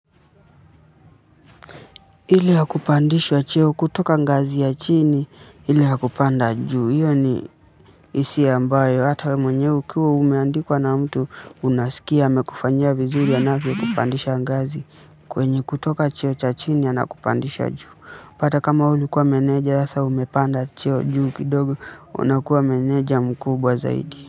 Ile ya kupandishwa cheo kutoka ngazi ya chini, ile ya kupanda juu. Iyo ni hisia ambayo hata mwenye ukiwa umeandikwa na mtu unasikia amekufanyia vizuri anavyokupandisha ngazi kwenye kutoka cheo cha chini anakupandisha juu. Hata kama wewe ulikuwa meneja, sasa umepanda cheo juu kidogo, unakuwa meneja mkubwa zaidi.